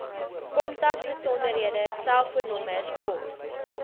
kontakbesonderhede selfoonnommers pos